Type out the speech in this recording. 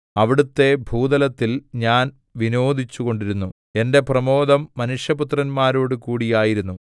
അവിടുത്തെ ഭൂതലത്തിൽ ഞാൻ വിനോദിച്ചുകൊണ്ടിരുന്നു എന്റെ പ്രമോദം മനുഷ്യപുത്രന്മാരോടുകൂടി ആയിരുന്നു